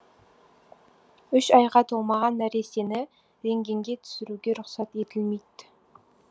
үш айға толмаған нәрестені рентгенге түсіруге рұқсат етілмейді